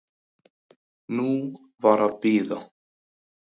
Nú var að bíða.